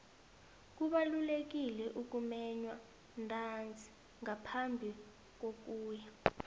kubalulekile ukumenywa ntanzi ngaphambi kokuya